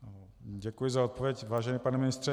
Děkuji za odpověď, vážený pane ministře.